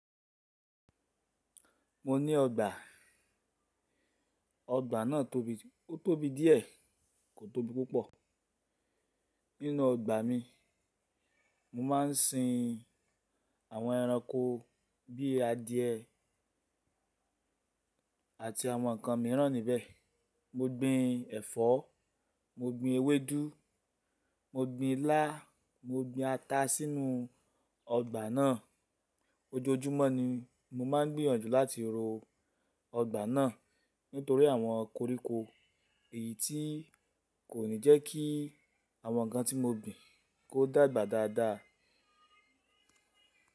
Mo ní ọgbà. Ọgbà náà tóbi, ó tóbi díẹ̀ kò tóbi púpọ̀. Nínú ọgbà mi, mo máa ń sin àwọn ẹranko bí i adìẹ àti àwọn nǹkan mìíràn níbẹ̀. Mo gbin ẹ̀fọ́, mo gbin ewédú, mo gbin ilá, mo gbin ata sínú ọgbà náà. Ojoojúmọ́ ni mo máa ń gbìyànjú láti ro ọgbà náà nítorí àwọn koríko èyí tí kò ní jẹ́ kí àwọn nǹkan tí mo gbin kó dàgbà dáadáa.